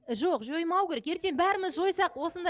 жоқ жоймау керек ертең бәріміз жойсақ осындай